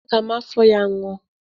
Ee, aga m afọ ya ñụa.